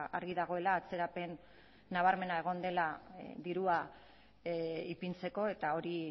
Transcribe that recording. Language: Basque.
argi dagoela atzerapen nabarmena egon dela dirua ipintzeko eta hori